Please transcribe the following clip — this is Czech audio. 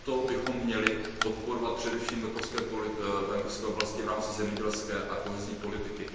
Proto bychom měli podporovat především venkovské oblasti v rámci zemědělské a kohezní politiky.